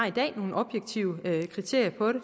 i dag nogle objektive kriterier for det